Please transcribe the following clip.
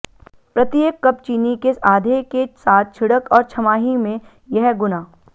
प्रत्येक कप चीनी के आधे के साथ छिड़क और छमाही में यह गुना